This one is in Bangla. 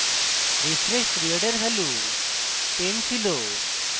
refresh period এর value 10 ছিল